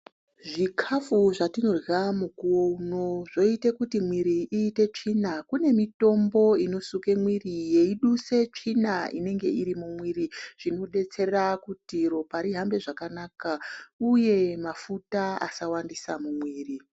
Zvikafu zvatinorya mukuwo uno zvoite kuti mwiri iite tsvina. Kune mitombo inosuke mwire yeiduse tsvina inenge iri mumwiri. Zvinodetsere kuti ropa rihambe zvakanaka uye mafuta asawandisa mumwiri.